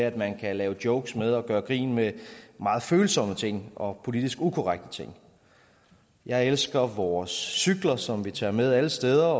at man kan lave jokes med og gøre grin med meget følsomme ting og politisk ukorrekte ting jeg elsker vores cykler som vi tager med alle steder